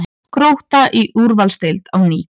Grótta í úrvalsdeild á ný